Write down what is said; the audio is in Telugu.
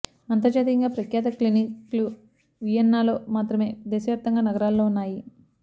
అంతర్జాతీయంగా ప్రఖ్యాత క్లినిక్లు వియన్నా లో మాత్రమే దేశవ్యాప్తంగా నగరాల్లో ఉన్నాయి